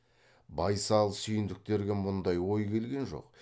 байсал сүйіндіктерге мұндай ой келген жоқ